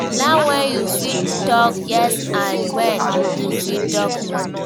Learn when you fit talk yes and when you fit talk no